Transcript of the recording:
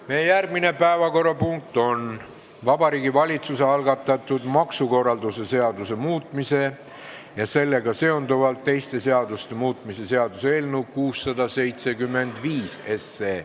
Meie järgmine päevakorrapunkt on Vabariigi Valitsuse algatatud maksukorralduse seaduse muutmise ja sellega seonduvalt teiste seaduste muutmise seaduse eelnõu 675.